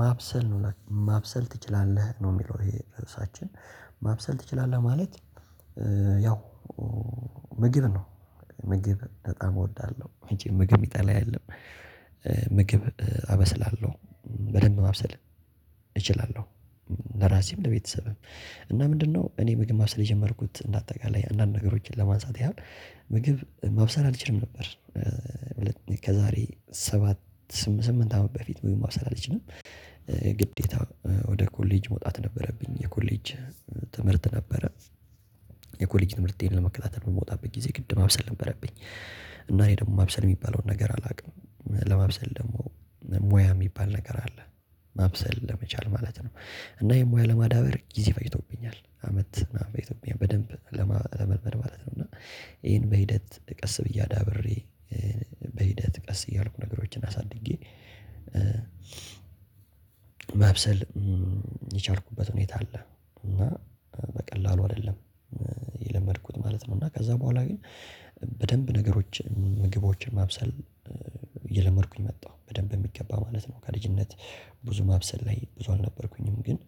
ማብሰል ነው ማብሰል ትችላለህ ነው የሚለው ይሄ ርዕሳችን ማብሰል ትችላለህ ማለት። ያው ምግብ ነው። ምግብ በጣም እወዳለሁ መቼም ምግብ የሚጠላ የለም። ምግብ አበስላለሁ በደንብ ማብሰል እችላለሁ። ለራሴም ለቤተሰብም እና ምንድነው? እኔ ምግብ ማብሰል የጀመርኩት እንደ አጠቃላይ አንዳንድ ነገሮችን ለማንሳት ያህል ምግብ ማብሰል አልችልም ነበር። ከዛሬ ሰባት ስምንት አመት በፊት ምግብ ማብሰል አልችልም። ግዴታ ወደ ኮሌጅ መውጣት ነበረብኝ የኮሌጅ ትምህርት ነበረ። የኮሌጅ ትምህርቴን ለመከታተል በምወጣበት ጊዜ ግድ ማብሰል ነበረብኝ። እና እኔ ደግሞ ማብሰል የሚባለውን ነገር አላውቅም ለማብሰል ደግሞ ሙያ የሚባል ነገር አለ። ማብሰል ለመቻል ማለት ነው። እና ይሄን ሙያ ለማዳበር ጊዜ ፈጅቶብኛል አመት እና በኢትዮጵያ በደንብ ለመልመድ ማለት ነው። እና ይሄን በሂደት ቀስ ብዬ አዳብሬ። በሂደት ቀስ እያልኩ ነገሮችን አሳድጌ። ማብሰል የቻልኩበት ሁኔታ አለ። እና በቀላሉ አይደለም። የለመድኩት ማለት ነው እና ከዛ በኋላ ግን። በደንብ ነገሮችን ምግቦችን ማብሰል እየለመድኩኝ መጣሁ በደንብ በሚገባ ማለት ነው። ከልጅነት ብዙ ማብሰል ላይ ብዙ አልነበርኩኝም ግን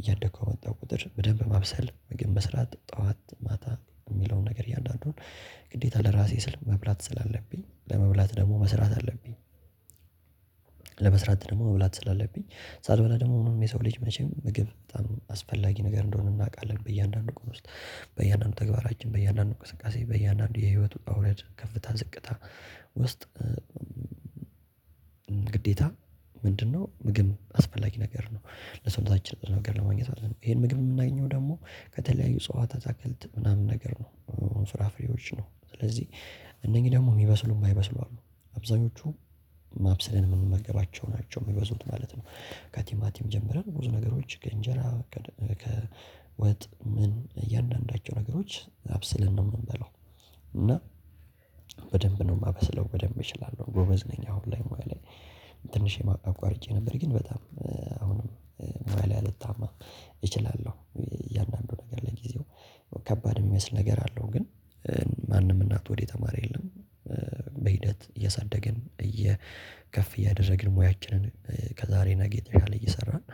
እያደኩ በመጣሁ ቁጥር በደንብ ማብሰል ምግብ መስራት ጠዋት ማታ የሚለውን ነገር እያንዳንዱን ግዴታ ለራሴ ስል መብላት ስላለብኝ ለመብላት ደግሞ መስራት አለብኝ። ለመስራት ደግሞ መብላት ስላለብኝ ሳልበላ ደግሞ ምንም የሰው ልጅ መቼም ምግብ በጣም አስፈላጊ ነገር እንደሆነ እናውቃለን። በእያንዳንዱ ቀን ውስጥ በእያንዳንዱ ተግባራችን በእያንዳንዱ እንቅስቃሴ በእያንዳንዱ የህይወት ውጣ ውረድ ከፍታ ዝቅታ ውስጥ። ግዴታ ምንድነው? ምግብ አስፈላጊ ነገር ነው። ለሰውነታችን ብዙ ነገር ለማግኘት ይሄን ምግብ የምናገኘው ደግሞ ከተለያዩ እጸዋት አታክልት ምናምን ነገር ነው ፍራ ፍሬዎች ነው። ስለዚህ እነኚህ ደግሞ የሚበስሉም ማይበስሉ አሉ። አብዛኞቹ አብሰለን የምንመገባቸው ናቸው የሚበዙት ማለት ነው። ከቲማቲም ጀምረን ብዙ ነገሮች ከእንጀራ ከወጥ ምን እያንዳንዳቸው ነገሮች አብስለን ነው የምንበላው። እና በደንብ ነው የማበስለው በደንብ እችላለሁ ጎበዝ ነኝ። አሁን ላይ ሙያ ላይ ትንሽ አቋርጬ ነበር ግን በጣም አሁንም ሙያ ላይ አልታማም። እችላለሁ። እያንዳንዱ ነገር ለጊዜው ከባድ የሚመስል ነገር አለው ግን ማንም እናቱ ሆድ የተማረ የለም። በሂደት እየሳደግን እየ ከፍ እያደረግን ሙያችንን ከዛሬ ነገ የተሻለ እየሰራን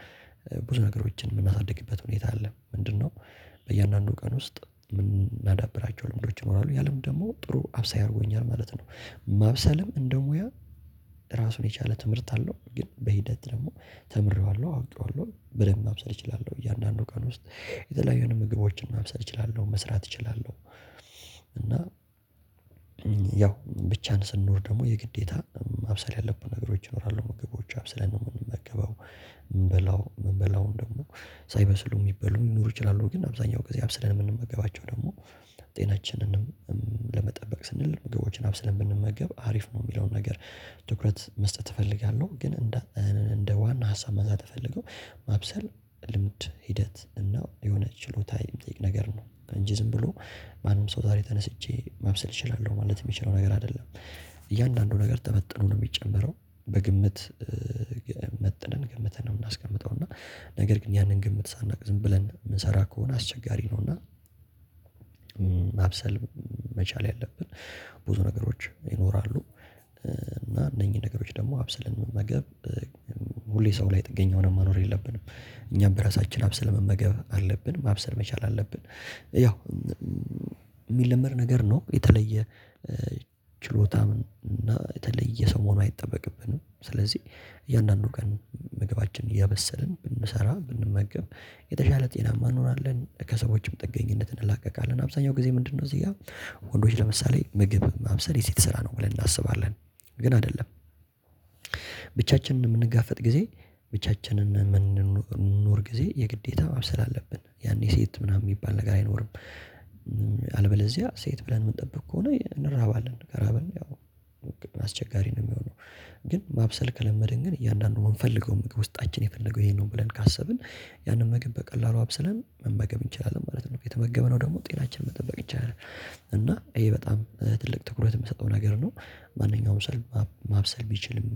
ብዙ ነገሮችን የምናሳድግበት ሁኔታ አለ። ምንድነው? በእያንዳንዱ ቀን ውስጥ ምናዳብራቸው ልምዶች ይኖራሉ ያ ልምድ ደግሞ ጥሩ አብሳይ አድርጎኛል ማለት ነው። ማብሰልም እንደ ሙያ ራሱን የቻለ ትምህርት አለው። ግን በሂደት ደግሞ ተምሬዋለሁ አውቄዋለሁ በደንብ ማብሰል እችላለሁ። እያንዳንዱ ቀን ውስጥ የተለያዩ አይነት ምግቦችን ማብሰል እችላለሁ መስራት እችላለሁ። እና ያው ብቻን ስንኖር ደግሞ የግዴታ ማብሰል ያለብን ነገሮች ይኖራሉ ምግቦች አብሰለን ነው የምንመገበው። የምንበላው የምበላውን ደግሞ ሳይበስሉ የሚበሉ ሊኖሩ ይችላሉ ግን አብዛኛው ጊዜ አብስለን የምንመገባቸው ደግሞ ጤናችንንም ለመጠበቅ ስንል ምግቦችን አብስለን ብንመገብ አሪፍ ነው። የሚለውን ነገር ትኩረት መስጠት እፈልጋለሁ። ግን እንደ እንደ ዋና ሀሳብ ማንሳት ምፈልገው ማብሰል ልምድ ሂደት እና የሆነ ችሎታ የሚጠይቅ ነገር ነው። እንጂ ዝም ብሎ ማንም ሰው ዛሬ ተነስቼ ማብሰል እችላለሁ ማለት የሚችለው ነገር አይደለም። እያንዳንዱ ነገር ተመጥኖ ነው የሚጨመረው። በግምት መጥነን ገምተን ነው የምናስቀምጠው። እና ነገር ግን ያንን ግምት ሳናውቅ ዝም ብለን የምንሰራ ከሆነ አስቸጋሪ ነው። እና ማብሰል መቻል ያለብን ብዙ ነገሮች ይኖራሉ። እና እነኚህን ነገሮች ደግሞ አብሰለን መመገብ። ሁሌ ሰው ላይ ጥገኛ ሆነን መኖር የለብንም። እኛም በራሳችን አብስለን መመገብ አለብን ማብሰል መቻል አለብን። ያው የሚለመድ ነገር ነው። የተለየ ችሎታ እና የተለየ ሰው መሆን አይጠበቅብንም። ስለዚህ እያንዳንዱ ቀን ምግባችንን እያበሰልን ብንሰራ ብንመገብ የተሻለ ጤናማ እንሆናለን። ከሰዎችም ጥገኝነት እንላቀቃለን። አብዛኛው ጊዜ ምንድነው? እዚህ ጋር ወንዶች ለምሳሌ ምግብ ማብሰል የሴት ስራ ነው ብለን እናስባለን። ግን አይደለም። ብቻችንን የምንጋፈጥ ጊዜ ብቻችንን የምንኖር ጊዜ የግዴታ ማብሰል አለብን ያኔ ሴት ምናምን የሚባል ነገር አይኖርም። አልበለዚያ ሴት ብለን የምንጠብቅ ከሆነ እንራባለን ከራበን ያው አስቸጋሪ ነው የሚሆነው። ግን ማብሰል ከለመድን ግን እያንዳንዱ የምንፈልገው ምግብ ውስጣችን የፈለገው ይሄ ነው ብለን ካሰብን ያንን ምግብ በቀላሉ አብሰለን መመገብ እንችላለን ማለት ነው። የተመገብነው ደግሞ ጤናችን መጠበቅ ይቻላል። እና ይሄ በጣም ትልቅ ትኩረት የምሰጠው ነገር ነው። ማንኛውም ሰው ማብሰል ቢችልም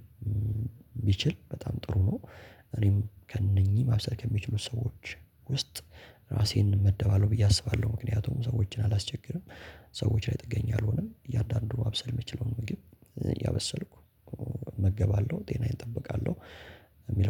ቢችል በጣም ጥሩ ነው። እኔም ከእነኚህ ማብሰል ከሚችሉት ሰዎች ውስጥ ራሴን እመደባለሁ ብዬ አስባለሁ ምክንያቱም ሰዎችን አላስቸግርም። ሰዎች ላይ ጥገኝ አልሆንም። እያንዳንዱ ማብሰል የምችለውን ምግብ እያበሰልኩ እመገባለሁ ጤናዬን እጠብቃለሁ። የሚል